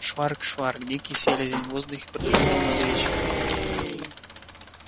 шварк-шварк дикий селезень в воздухе пролетел над речкой